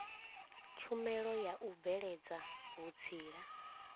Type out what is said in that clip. tshumelo ya u bveledza vhutsila